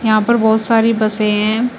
यहां पर बहुत सारी बसे हैं।